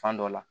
Fan dɔ la